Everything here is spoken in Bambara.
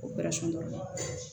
O